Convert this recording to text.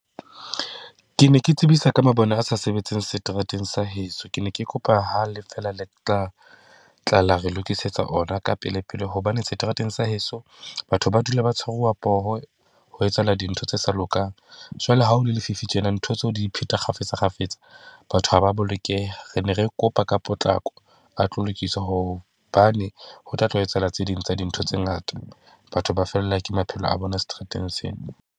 Ke ne ke tsebisa ka mabone a sa sebetseng seterateng sa heso, ke ne ke kopa ha le fela le tla tla la re lokisetsa ona ka pelepele, hobane seterateng sa heso batho ba dula ba tshwaruwa poho ho etsahala dintho tse sa lokang. Jwale ha ho le lefifi tjena ntho tseo di ipheta kgafetsa kgafetsa, batho ha ba a bolokeha. Re ne re kopa ka potlako a tlo lokisa hobane ho tla tla ho etsahala tse ding tsa dintho tse ngata. Batho ba fellwa ke maphelo a bona seterateng sena.